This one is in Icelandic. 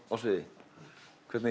sviði hvernig